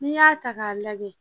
N'i y'a ta k'a lajɛ